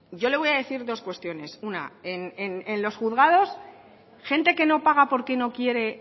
yo le voy a decir dos cuestiones una en los juzgados gente que no paga porque no quiere